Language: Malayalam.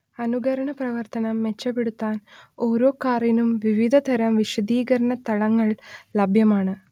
അനുകരണ പ്രവർത്തനം മെച്ചപ്പെടുത്താൻ ഓരോ കാറിനും വിവിധ തരം വിശദീകരണ തലങ്ങൾ ലഭ്യമാണ്